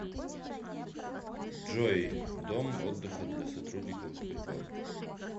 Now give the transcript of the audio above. джой дом отдыха для сотрудников сбербанка